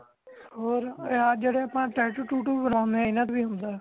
ਹੋਰ ਆਪਾ ਜੇਡੇ tattoo took ਬਨਾਨੇ ਹਾਂ ਇਨਾ ਤੋਹ ਵੀ ਹੋਂਦਾ